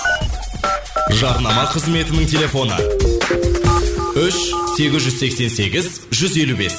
жарнама қызметінің телефоны үш сегіз жүз сексен сегіз жүз елу бес